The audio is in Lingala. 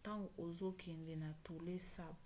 ntango ozokende na tonlé sap